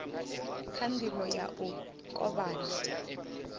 kha ndivho ya u kovhana